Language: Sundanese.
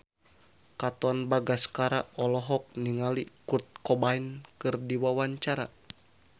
Katon Bagaskara olohok ningali Kurt Cobain keur diwawancara